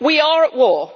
We are at war.